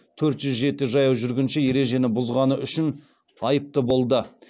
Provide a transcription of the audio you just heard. төрт жүз жеті жаяу жүргінші ережені бұзғаны үшін айыпты болды